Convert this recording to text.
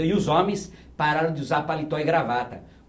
E os homens pararam de usar paletó e gravata.